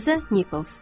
Liza Nickels.